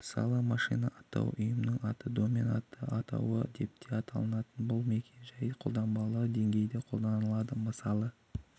мысалы машина атауы ұйымның аты домен аты атауы депте аталынатын бұл мекен-жай қолданбалы деңгейде қолданылады мысалы